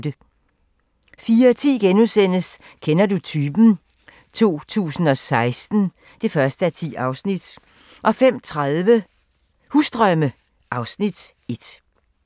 04:10: Kender du typen? 2016 (1:10)* 05:30: Husdrømme (Afs. 1)